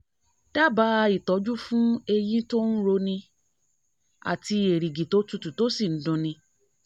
dábàá ìtọ́jú fún eyín tó ń roni àti erìgì tó tutù tó sì ń dun ni